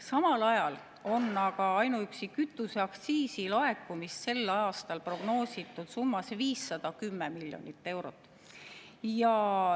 Samal ajal on aga ainuüksi kütuseaktsiisi laekumist sel aastal prognoositud summas 510 miljonit eurot.